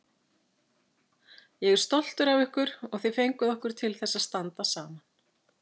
Ég er stoltur af ykkur og þið fenguð okkur til þess að standa saman.